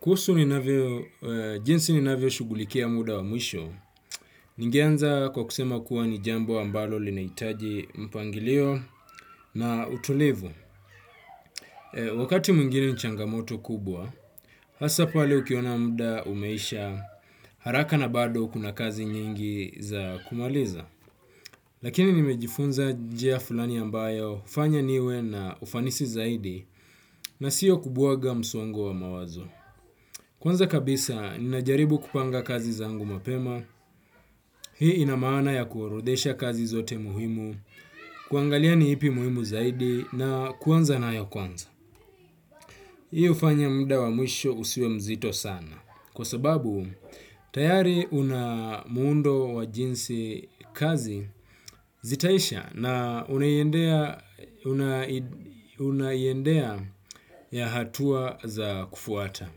Kuhusu ni navyo, jinsi ni navyo shughulikia muda wa mwisho, ningeanza kwa kusema kuwa ni jambo ambalo linahitaji mpangilio na utulivu. Wakati mwingine nchangamoto kubwa, hasa pale ukiona muda umeisha haraka na bado kuna kazi nyingi za kumaliza. Lakini nimejifunza njia fulani ambayo hufanya niwe na ufanisi zaidi na siyo kubwaga msongo wa mawazo. Kwanza kabisa, ninajaribu kupanga kazi zangu mapema, hii inamaana ya kuorodhesha kazi zote muhimu, kuangalia ni ipi muhimu zaidi, na kuanza nayo kwanza. Hii hufanya muda wa mwisho usiwe mzito sana, kwa sababu tayari una muundo wa jinsi kazi zitaisha na unaiendea ya hatua za kufuata.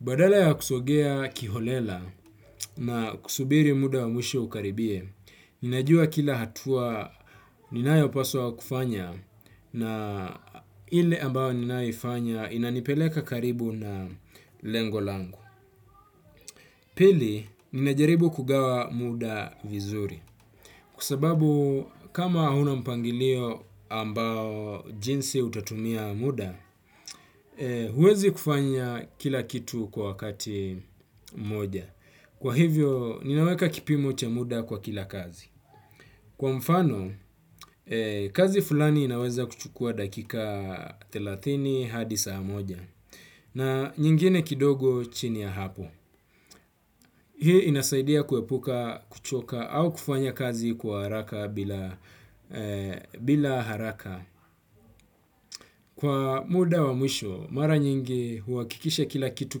Badala ya kusongea kiholela na kusubiri muda wa mwisho ukaribie, ninajua kila hatua ninayopaswa kufanya na ile ambao ninaifanya inanipeleka karibu na lengo langu. Pili, ninajaribu kugawa muda vizuri. Kwa sababu, kama huna mpangilio ambao jinsi utatumia muda, huwezi kufanya kila kitu kwa wakati mmoja. Kwa hivyo, ninaweka kipimo cha muda kwa kila kazi. Kwa mfano, kazi fulani inaweza kuchukua dakika thelathini hadi saa moja, na nyingine kidogo chini ya hapo. Hii inasaidia kuepuka kuchoka au kufanya kazi kwa haraka bila haraka. Kwa muda wa mwisho, mara nyingi huhakikisha kila kitu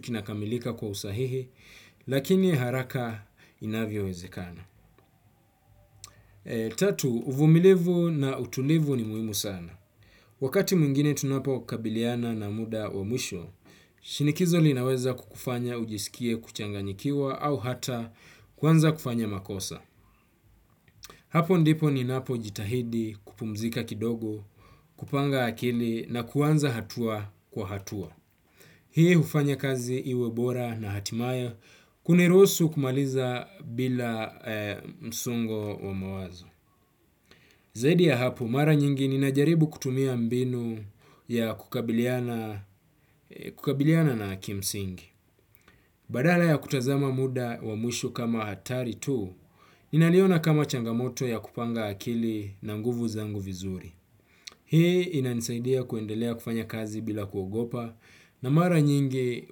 kinakamilika kwa usahihi, lakini haraka inavyowezekana. Tatu uvumilivu na utulivu ni muhimu sana. Wakati mwingine tunapo kabiliana na muda wa mwisho, shinikizo linaweza kukufanya ujisikie kuchanganyikiwa au hata kuanza kufanya makosa. Hapo ndipo ninapo jitahidi kupumzika kidogo, kupanga akili na kuanza hatua kwa hatua. Hii hufanya kazi iwe bora na hatimaye, kuniruhusu kumaliza bila msongo wa mawazo. Zaidi ya hapo, mara nyingi ninajaribu kutumia mbinu ya kukabiliana na kimsingi. Badala ya kutazama muda wa mwisho kama hatari tu, ninaliona kama changamoto ya kupanga akili na nguvu zangu vizuri. Hii inanisaidia kuendelea kufanya kazi bila kuogopa na mara nyingi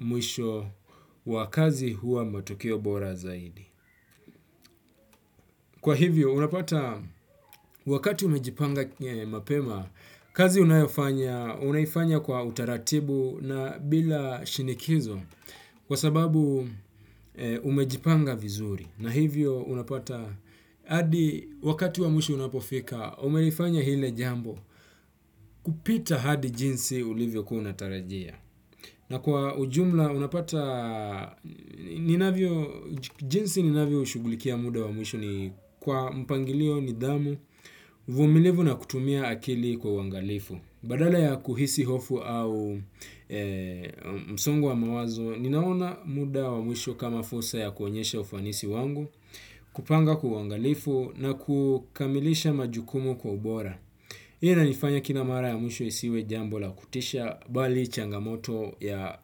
mwisho wa kazi hua matokeo bora zaidi. Kwa hivyo, unapata wakati umejipanga mapema, kazi unayofanya, unaifanya kwa utaratibu na bila shinikizo kwa sababu umejipanga vizuri. Na hivyo, unapata hadi wakati wamwisho unapofika, umelifanya hile jambo kupita hadi jinsi ulivyo kuwa unatarajia. Na kwa ujumla, jinsi ninavyoshughulikia muda wa mwisho ni kwa mpangilio nidhamu uvumilivu na kutumia akili kwa uangalifu. Badala ya kuhisi hofu au msongo wa mawazo, ninaona muda wa mwisho kama fursa ya kuonyesha ufanisi wangu, kupanga kwa wangalifu na kukamilisha majukumu kwa ubora. Hii inanifanya kila mara ya mwishwo isiwe jambo la kutisha bali changamoto ya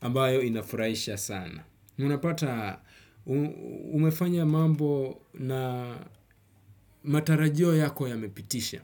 ambayo inafurahisha sana. Unapata umefanya mambo na matarajio yako ya mepitisha.